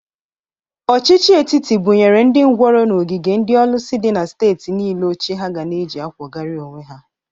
Ọchịchị etiti bụnyere ndị ngwọrọ n'ogige ndị ọlụsị dị na steeti niile oche ha ga na-eji akwọgari onwe ha.